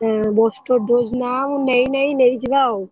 ହୁଁ booster dose ନା ମୁଁ ନେଇନାହିଁ ନେଇ ଯିବା ଆଉ।